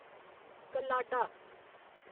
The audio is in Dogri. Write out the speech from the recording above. कल्लाडा